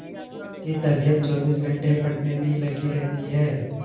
उसकी तबीयत चौबीस घंटे पढ़ने में ही लगी रहती है